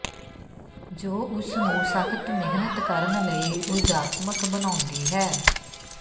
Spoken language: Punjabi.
ਜੋ ਉਸ ਨੂੰ ਸਖ਼ਤ ਮਿਹਨਤ ਕਰਨ ਲਈ ਉਰਜਾਤਮਕ ਬਣਾਉਂਦੀ ਹੈ